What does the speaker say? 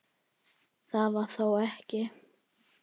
Það var þó ekki.?